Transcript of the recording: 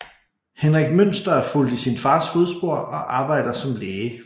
Henrik Münster er fulgt i sin fars fodspor og arbejder som læge